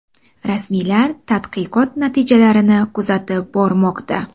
Rasmiylar tadqiqot natijalarini kuzatib bormoqda.